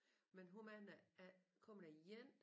Men hvor mange af kommer der en